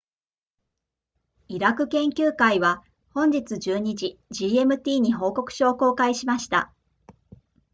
イラク研究会は本日12時 gmt に報告書を公開しました